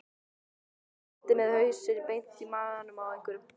Örn lenti með hausinn beint í magann á einhverjum.